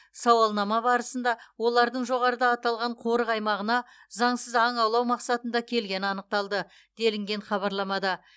сауалнама барысында олардың жоғарыда аталған қорық аймағына заңсыз аң аулау мақсатында келгені анықталды делінген хабарламада